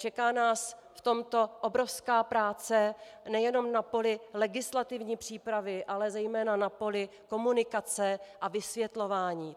Čeká nás v tomto obrovská práce nejenom na poli legislativní přípravy, ale zejména na poli komunikace a vysvětlování.